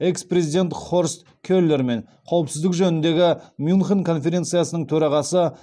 экс президент хорст келермен қауіпсіздік жөніндегі мюнхен конференциясының төрағасы